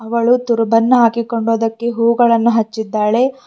ಅವಳು ತುರುಬನ್ನು ಹಾಕಿಕೊಂಡು ಅದಕ್ಕೆ ಹೂ ಗಳನ್ನು ಅಚ್ಚಿದಾಳೆ.